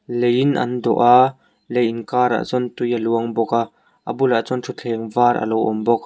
leiin an dawh a lei inkarah chuan tui a luang bawk a a bulah chuan thuthleng var a lo awm bawk.